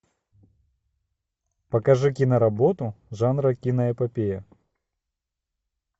покажи киноработу жанра киноэпопея